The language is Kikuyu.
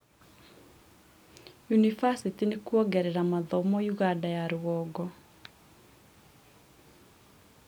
yunibacĩtĩ nĩkuongerera mathomo ũganda ya rũgongo